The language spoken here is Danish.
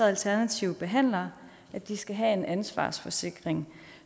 alternative behandlere at de skal have en ansvarsforsikring